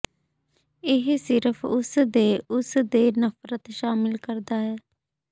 ਇਹ ਸਿਰਫ ਉਸ ਦੇ ਉਸ ਦੇ ਨਫ਼ਰਤ ਸ਼ਾਮਿਲ ਕਰਦਾ ਹੈ